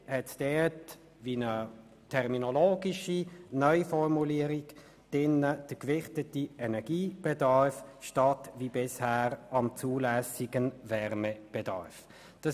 Allerdings besteht dort eine terminologische Neuformulierung: «den gewichteten Energiebedarf» statt wie bisher «am zulässigen Wärmebedarf».